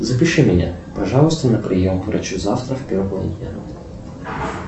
запиши меня пожалуйста на прием к врачу завтра в первой половине дня